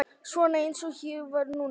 Svona eins og ég var núna.